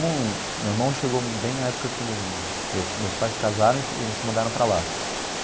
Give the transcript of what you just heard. Não, meu irmão chegou bem na época que me meus pais casaram e e se mudaram para lá.